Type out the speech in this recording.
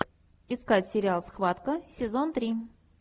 искать сериал схватка сезон три